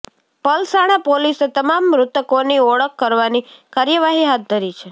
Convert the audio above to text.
પલસાણા પોલીસે તમામ મૃતકોની ઓળખ કરવાની કાર્યવાહી હાથ ધરી છે